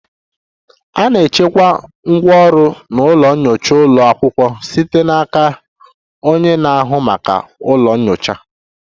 A na-achịkwa ngwá ọrụ na ụlọ nyocha ụlọ akwụkwọ site n'aka onye na-ahụ maka ụlọ nyocha